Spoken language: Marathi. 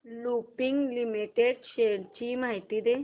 लुपिन लिमिटेड शेअर्स ची माहिती दे